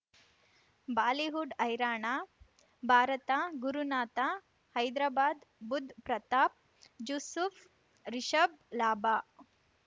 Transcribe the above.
Bollywood ಹೈರಾಣ ಭಾರತ ಗುರುನಾಥ ಹೈದ್ರಾಬಾದ್ ಬುಧ್ ಪ್ರತಾಪ್ ಜೂಸುಫ್ ರಿಷಬ್ ಲಾಭ